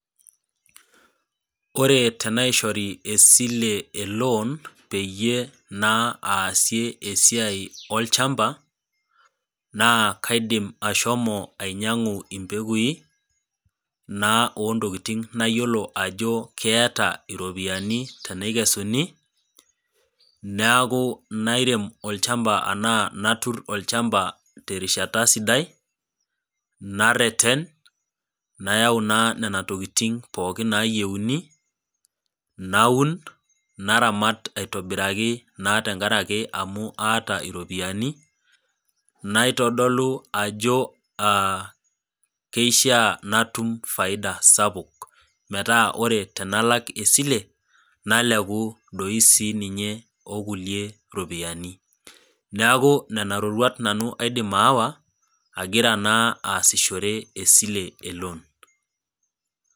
Ore tenaishori esile eloan peyie naa aasie esiai olchamba naa kaidim ashomo ainyiangu impekui naa ontokitin nayiolo ajo keeta iropiyiani tenikesuni neeku nairem olchamba anaa natur olchamba terishata siai, nareten , nayau naa nena tokitin pookin nayieuni , naun naramat aitobiraki naa tenkaraki amu aata iropiyiani naitodolu ajo aa keishiaa natum faida sapuk metaa ore tenalak esile nalek doi sininye okulie ropiyiani , niaku nena roruat nanu aidim aawa agira naa asishore esile eloan.